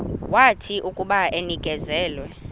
wathi akuba enikezelwe